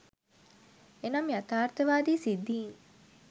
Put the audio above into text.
එනම් යථාර්ථවාදී සිද්ධීන්